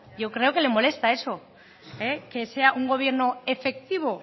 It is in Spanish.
yo creo que le molesta eso que sea un gobierno efectivo